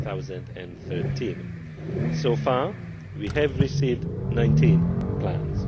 2013. So far we have received 19 Plans.